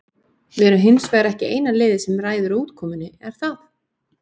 Við erum hins vegar ekki eina liðið sem ræður útkomunni, er það?